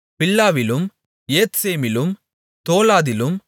பில்லாவிலும் ஏத்சேமிலும் தோலாதிலும்